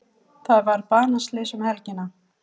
Þar varð banaslys um helgina.